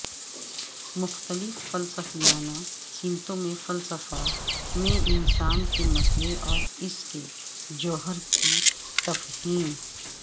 مختلف فلسفیانہ سمتوں میں فلسفہ میں انسان کے مسئلے اور اس کے جوہر کی تفہیم